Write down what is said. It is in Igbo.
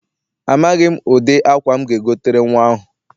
Amaghị m ụdị akwa m ga-egotere nnwa ahụ.